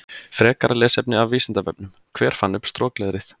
Frekara lesefni af Vísindavefnum: Hver fann upp strokleðrið?